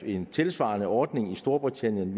en tilsvarende ordning i storbritannien